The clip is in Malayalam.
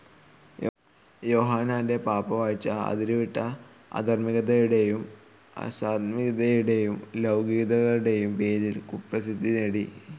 യോഹന്നാന്റെ പാപ്പാവാഴ്ച, അതിരുവിട്ട അധാർമ്മികതയുടേയും അസാന്മാഗ്ഗികതയുടേയും ലൗകികതയുടേയും പേരിൽ കുപ്രസിദ്ധി നേടി.